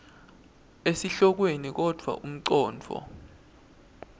esihlokweni kodvwa umcondvo